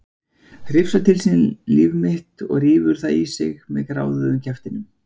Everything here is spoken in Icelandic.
Hrifsar til sín líf mitt og rífur það í sig með gráðugum kjaftinum.